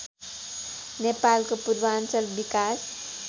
नेपालको पूर्वाञ्चल विकास